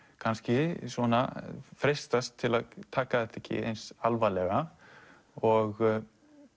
kannski svona freistast til að taka þetta ekki eins alvarlega og